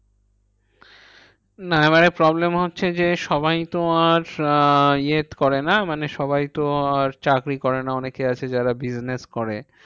না এবারে problem হচ্ছে যে, সবাই তো আর আহ ইয়ে করে না? মানে সবাই তো আর চাকরি করে না? অনেকে আছে যারা business করে।